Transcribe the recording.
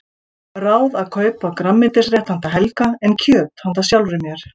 Ráð að kaupa grænmetisrétt handa Helga en kjöt handa sjálfri mér.